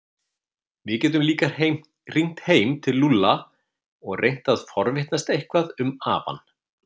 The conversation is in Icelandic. Við getum líka hringt heim til Lúlla og reynt að forvitnast eitthvað um afann.